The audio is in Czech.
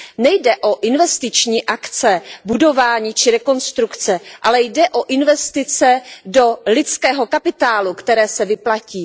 Nejde o investiční akce, budování či rekonstrukce, ale jde o investice do lidského kapitálu, které se vyplatí.